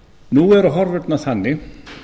nú eru horfurnar þannig